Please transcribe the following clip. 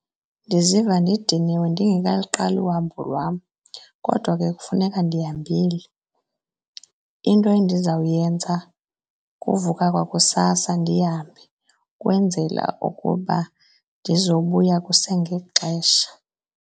Ndiziva ndidiniwe ndingelikaqali uhambo lwam kodwa ke kufuneka ndihambile. Into endizawuyenza kuvuka kwakusasa ndihambe ukwenzela ukuba ndizobuya kusengexesha.